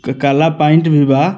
क काला पेंट भी बा।